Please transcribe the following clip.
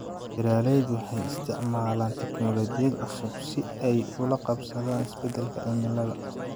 Beeraleydu waxay isticmaalaan tiknoolajiyad cusub si ay ula qabsadaan isbeddelka cimilada.